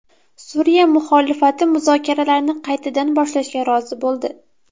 Suriya muxolifati muzokaralarni qaytadan boshlashga rozi bo‘ldi.